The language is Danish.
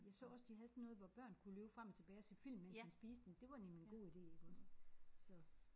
Jeg så også de havde sådan noget hvor børn kunne løbe frem og tilbage og se film mens man spiste men det var nemlig en god ide iggås så